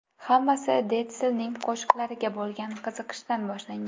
Hammasi Detslning qo‘shiqlariga bo‘lgan qiziqishidan boshlangan.